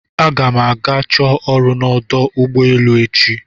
Aga m ga chọọ ọrụ n'ọdụ ụgbọ elu echi